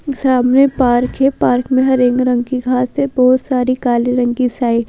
सामने पार्क है पार्क में हरेंग रंग की घास है बहुत सारी काले रंग की साइड।